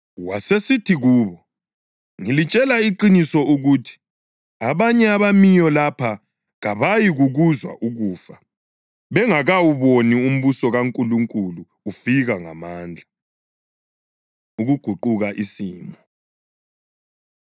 Wasesithi kubo, “Ngilitshela iqiniso ukuthi abanye abemiyo lapha kabayikukuzwa ukufa bengakawuboni umbuso kaNkulunkulu ufika ngamandla.” Ukuguquka Isimo